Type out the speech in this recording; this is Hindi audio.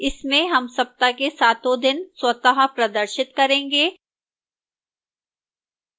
इसमें हम सप्ताह के सातों दिन स्वतः प्रदर्शित करेंगे